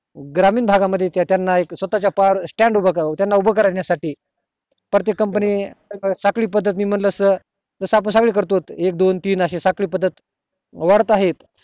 ग्रामीण भागा मध्ये त्याना एक स्वता च्या पायावर stand उभ त्याना उभा करण्या साठी प्रत्येक company साखळी पद्दत ने म्हणलं त जस आपण सगळे च कारतोत एक दोन तीन अशे साखळी पद्दत वाढत आहेत